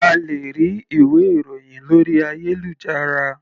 A lè rí ìwé ìròhìn lórí ayélujára.